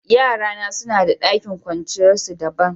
Yara na suna da dakin kwanciyar su dabban.